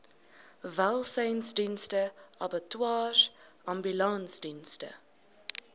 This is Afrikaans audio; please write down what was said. welsynsdienste abattoirs ambulansdienste